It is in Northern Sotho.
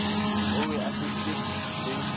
o be a feditše le